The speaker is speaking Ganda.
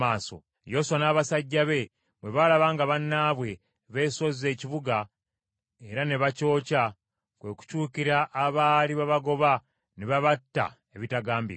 Yoswa n’abasajja be bwe baalaba nga bannaabwe beesozze ekibuga era ne bakyokya, kwe kukyukira abaali babagoba ne babatta ebitagambika.